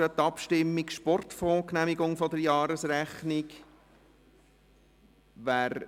«Sportfonds Genehmigung der Jahresrechnung 2017».